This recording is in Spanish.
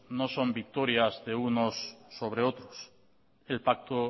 no son victorias de unos sobre otros el pacto